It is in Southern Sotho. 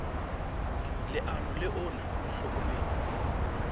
leano le ona o hlokometse